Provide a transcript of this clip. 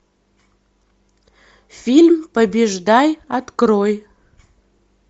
фильм побеждай открой